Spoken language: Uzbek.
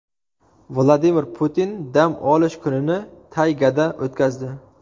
Vladimir Putin dam olish kunini taygada o‘tkazdi.